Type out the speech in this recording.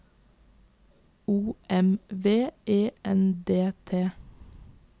O M V E N D T